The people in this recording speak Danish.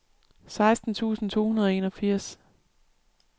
seksten tusind to hundrede og enogfirs